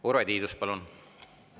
Urve Tiidus, palun!